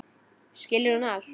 Skilur hún allt?